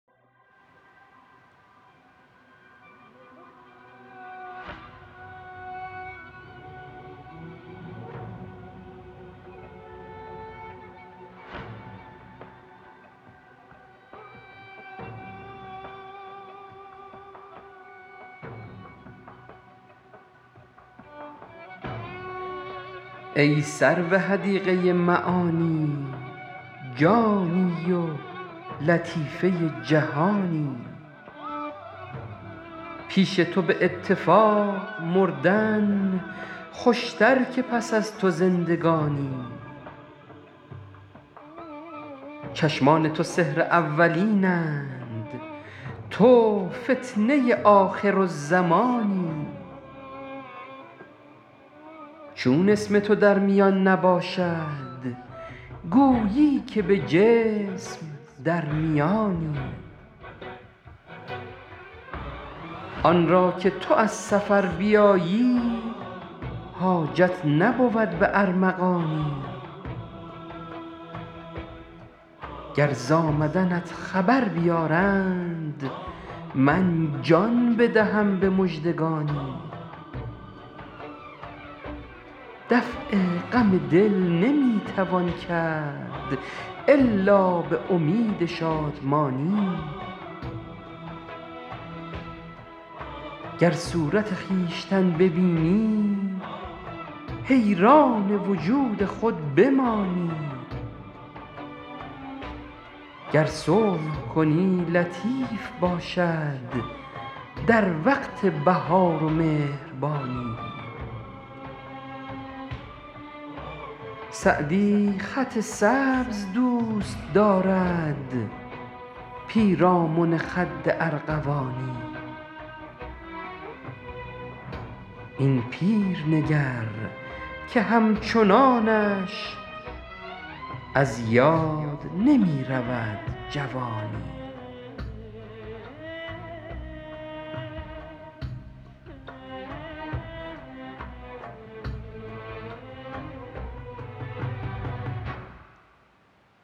ای سرو حدیقه معانی جانی و لطیفه جهانی پیش تو به اتفاق مردن خوشتر که پس از تو زندگانی چشمان تو سحر اولین اند تو فتنه آخرالزمانی چون اسم تو در میان نباشد گویی که به جسم در میانی آن را که تو از سفر بیایی حاجت نبود به ارمغانی گر ز آمدنت خبر بیارند من جان بدهم به مژدگانی دفع غم دل نمی توان کرد الا به امید شادمانی گر صورت خویشتن ببینی حیران وجود خود بمانی گر صلح کنی لطیف باشد در وقت بهار و مهربانی سعدی خط سبز دوست دارد پیرامن خد ارغوانی این پیر نگر که همچنانش از یاد نمی رود جوانی